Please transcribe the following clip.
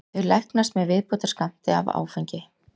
Þau læknast með viðbótarskammti af áfengi.